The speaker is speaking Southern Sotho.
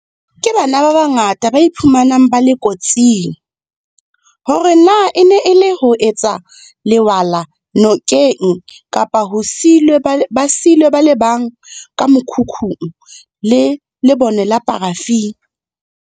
Ke bana ba bangata ba iphumanang ba le kotsing, hore na e ne e le ho etsa lewala nokeng kapa ba siilwe ba le bang ka mokhukhung le lebone la parafini.